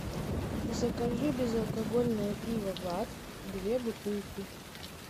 закажи безалкогольное пиво бад две бутылки